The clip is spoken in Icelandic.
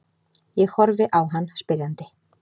Ég horfi á hann spyrjandi.